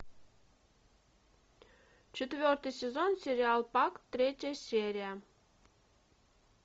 четвертый сезон сериал пак третья серия